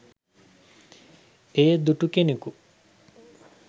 එය දුටු කෙනකු